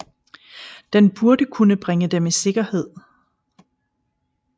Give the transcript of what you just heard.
Den burde kunne bringe dem i sikkerhed